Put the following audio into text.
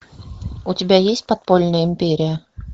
у тебя есть подпольная империя